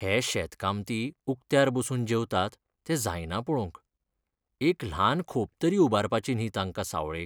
हे शेतकामती उक्त्यार बसून जेवतात तें जायना पळोवंक. एक ल्हान खोप तरी उबारपाची न्ही तांकां सावळेक.